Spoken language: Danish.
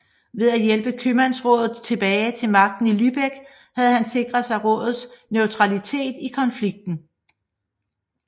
Ved at hjælpe købmandsrådet tilbage til magten i Lübeck havde han sikret sig rådets neutralitet i konflikten